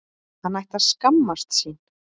Hann ætti að skammast sín!